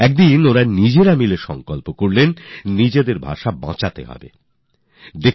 তখন একদিন এরা সবাই নিজেদের ভাষাকে বাচানোর প্রতিজ্ঞা করেন